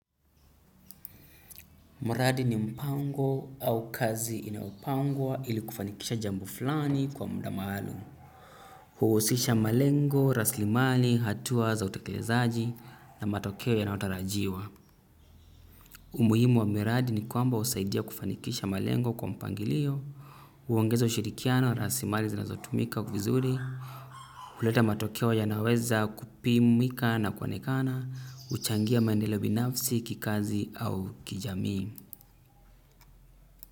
Mradi ni mpango au kazi inayopangwa ili kufanikisha jambo fulani kwa muda maalum huusisha malengo raslimali hatua za utekelezaji na matokeo yanayotarajiwa umuhimu wa miradi ni kwamba husaidia kufanikisha malengo kwa mpangilio huongeza ushirikiano raslimali zinazotumika vizuri huleta matokeo yanaweza kupimika na kuonekana huchangia maendeleo binafsi kikazi au kijamii.